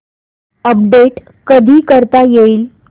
update कधी करता येईल